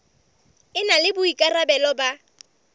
e na le boikarabelo ba